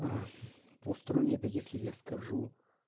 угу посторонние это если я скажу